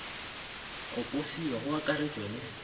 go posiwa go akaratešwa le